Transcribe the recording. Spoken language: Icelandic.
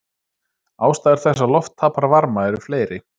Ástæður þess að loft tapar varma eru fleiri.